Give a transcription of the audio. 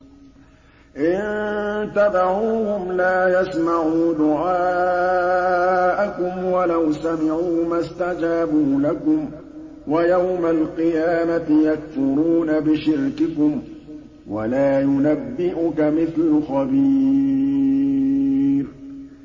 إِن تَدْعُوهُمْ لَا يَسْمَعُوا دُعَاءَكُمْ وَلَوْ سَمِعُوا مَا اسْتَجَابُوا لَكُمْ ۖ وَيَوْمَ الْقِيَامَةِ يَكْفُرُونَ بِشِرْكِكُمْ ۚ وَلَا يُنَبِّئُكَ مِثْلُ خَبِيرٍ